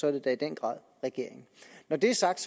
er det da i den grad regeringen når det er sagt